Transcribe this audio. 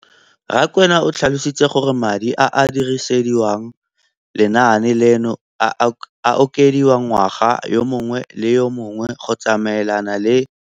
Rakwena o tlhalositse gore madi a a dirisediwang lenaane leno a okediwa ngwaga yo mongwe le yo mongwe go tsamaelana le